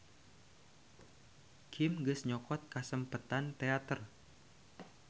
Kim geus nyokot kasempetan teater.